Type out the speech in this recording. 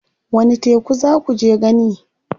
Wani teku za kuje gani?